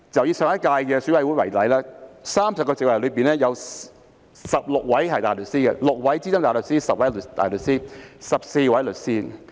以上屆選委會為例 ，30 個席位中，有16位大律師及14位律師。